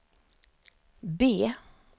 B